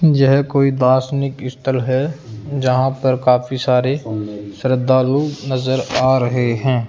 यह कोई दासनिक स्थल है जहां पर काफी सारे श्रद्धालु नजर आ रहे है।